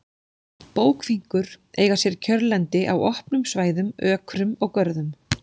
Bókfinkur eiga sér kjörlendi á opnum svæðum, ökrum og görðum.